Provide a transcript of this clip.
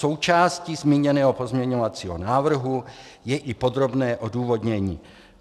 Součástí zmíněného pozměňovacího návrhu je i podrobné odůvodnění.